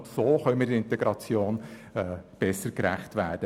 Nur so könne man der Integration besser gerecht werden.